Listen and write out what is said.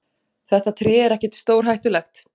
Þetta tré er ekkert stórhættulegt.